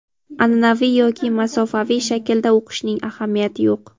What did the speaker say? Anʼanaviy yoki masofaviy shaklda o‘qishning ahamiyati yo‘q.